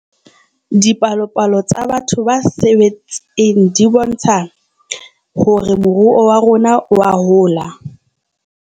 Dipalopalo tsa batho ba sebetseng di bontsha hore moruo wa rona oa hola